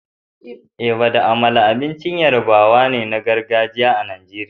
Eba da amala abincin al'ummar yarabawa na gargajiya ne a Najeriya.